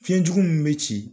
Fiɲɛjugu min bɛ ci.